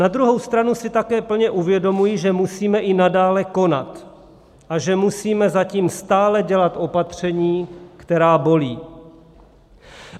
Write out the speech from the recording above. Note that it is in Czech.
Na druhou stranu si také plně uvědomuji, že musíme i nadále konat a že musíme zatím stále dělat opatření, která bolí.